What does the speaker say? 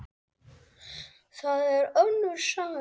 Það er önnur saga.